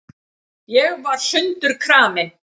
Ég var sundurkramin.